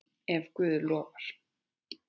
Ef Guð lofar.